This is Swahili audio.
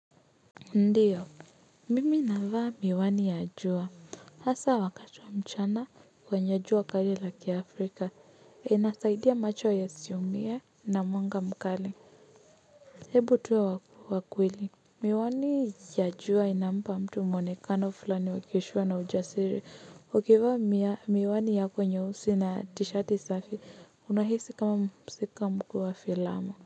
Ndiyo, mimi navaa miwani ya jua, hasa wakati wa mchana kwenye jua kali la kiafrika, inasaidia macho ya siumie na mwanga mkali. Hebu tuwe wakweli, miwani ya jua inampa mtu mwonekano fulani wa kishua na ujasiri, ukivaa miwani yako nyeusi na tishati safi, unahisi kama mko filamu.